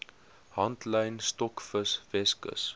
handlyn stokvis weskus